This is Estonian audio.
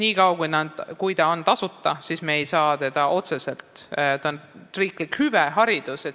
Nii kaua, kuni haridus on tasuta, on see riiklik hüve.